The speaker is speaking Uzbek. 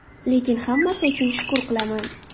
Lekin hammasi uchun shukr qilaman.